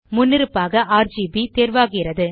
முன்னிருப்பாக ஆர்ஜிபி தேர்வாகிறது